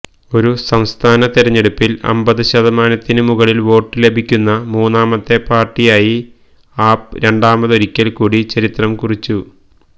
ഒരു സംസ്ഥാന തെരെഞ്ഞെടുപ്പിൽ അമ്പത് ശതമാനത്തിന് മുകളിൽ വോട്ട് ലഭിക്കുന്ന മൂന്നാമത്തെ പാർട്ടിയായി ആപ് രണ്ടാമതൊരിക്കൽ കൂടി ചരിത്രം കുറിച്ചു